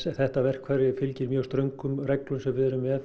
þetta verkfæri fylgir mjög ströngum reglum sem við erum með